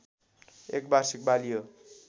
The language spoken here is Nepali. एक वार्षिक बाली हो